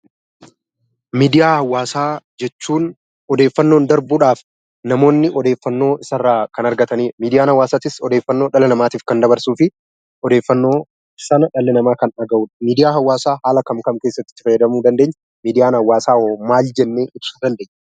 Miidiyaa hawaasaa jechuun odeeffannoon darbuudhaaf namoonni odeeffannoo isa irraa kan argatanidha. Miidiyaan hawaasaas odeeffannoo dhala namaatiif kan dabarsuu fi odeeffannoo sana dhalli namaa kan dhagahudha. Miidiyaan hawaasaa bakka akkamii itti fayyadamuu dandeenya, miidiyaan hawaasaa hoo hoo maal jennee ibsuu dandeenya?